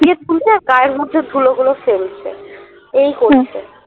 গায়ের মধ্যে ধুলোগুলো ফেলছে এই করছে